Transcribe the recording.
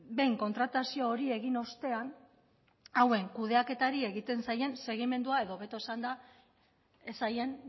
behin kontratazio hori egin ostean hauen kudeaketari egiten zailen segimendua edo hobeto esanda ez zaien